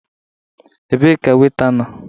Ebee ka Weita nọọ?